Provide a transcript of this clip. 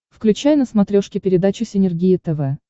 включай на смотрешке передачу синергия тв